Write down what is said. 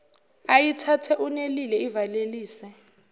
ayithathe unelile ivalelise